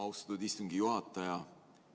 Austatud istungi juhataja!